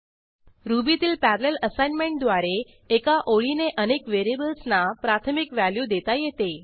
रूबीत parallel असाइनमेंटद्वारे एका ओळीने अनेक व्हेरिएबल्सना प्राथमिक व्हॅल्यू देता येते